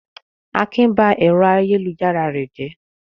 Akin ba ẹ̀rọ ayélujára rẹ̀ jẹ́.